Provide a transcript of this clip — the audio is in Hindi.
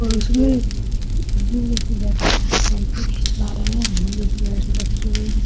और उसमे सेल्फी खिचवा रहे है चेयर्स रखी हुई है ।